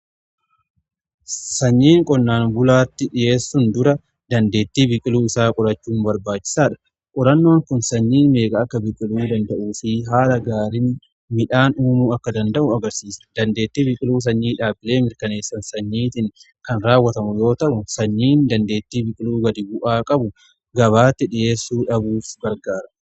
Sanyiin qonnaan bulaatti dhiheessuun dura dandeettii biqiluu isaa qorachuu barbaachisaadha. qorannoon kun sanyii meeqaa akka biqiluu danda'u fi haala gaariin midhaan uumuu akka danda'u agarsiisa. Dandeettii biqiluu sanyii dhaabilee mirkaneessan sanyiitiin kan raawwatamu yoo ta'u sanyiin dandeettii biqiluu gadi bu'aa qabu gabaatti dhiheessuu dhabuuf gargaara.